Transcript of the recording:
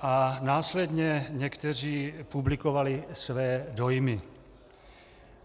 a následně někteří publikovali své dojmy.